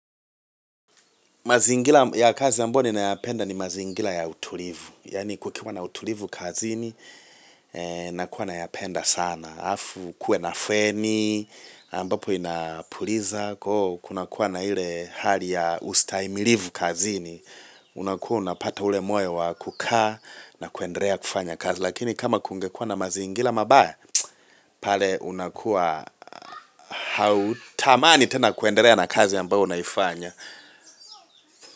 Mazingira ya kazi ambayo ninayapenda ni mazingira ya utulivu. Yaani kukiwa na utulivu kazini, nakuwa nayapenda sana. Afu, kuwe na feni, ambapo inapuliza, koo, kuna kuwa na ile hali ya ustahimilivu kazini. Unakuwa unapata ule moyo wa kukaa na kuendelea kufanya kazi. Lakini kama kungekua na mazingira mabaya, pale unakuwa hautamani tena kuendelea na kazi ambayo unaifanya.